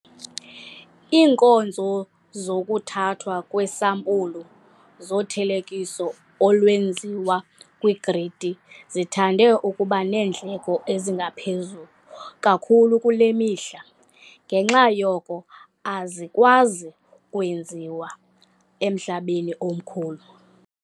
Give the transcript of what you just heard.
Iinkonzo zokuthathwa kweesampulu zothelekiso olwenziwa kwigridi zithande ukuba neendleko eziphezulu kakhulu kule mihla, ngenxa yoko azikwazi kwenziwa emhlabeni omkhulu.